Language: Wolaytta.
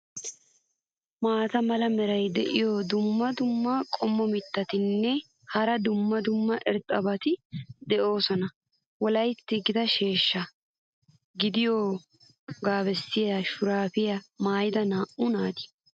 maata mala meray diyo dumma dumma qommo mitattinne hara dumma dumma irxxabati de'oosona. wolaytti gita sheeshsha gidiyoogaa bessiya shuraabiya maayida naa'u naata.